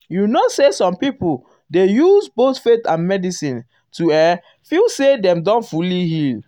you know say some people dey use um both faith and medicine to[um]feel say dem don fully heal.